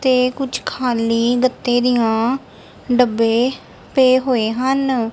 ਤੇ ਕੁਛ ਖਾਲੀ ਗੱਤੇ ਦੀਆਂ ਡੱਬੇ ਪਏ ਹੋਏ ਹਨ।